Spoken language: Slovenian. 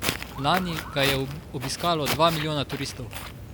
Lani ga je obiskalo dva milijona turistov.